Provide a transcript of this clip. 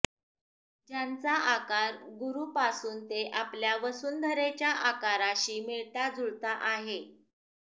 ज्यांचा आकार गुरु पासून ते आपल्या वसुंधरेच्या आकाराशी मिळता जुळता आहे